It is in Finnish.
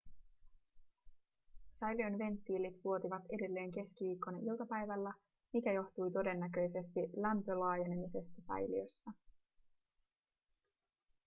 säiliön venttiilit vuotivat edelleen keskiviikkona iltapäivällä mikä johtui todennäköisesti lämpölaajenemisesta säiliössä